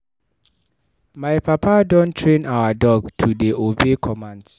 My papa don train our dog to dey obey commands.